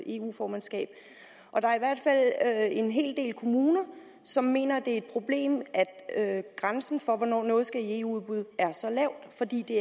eu formandskab og der er i hvert fald en hel del kommuner som mener at det er et problem at grænsen for hvornår noget skal i eu udbud er så lav fordi det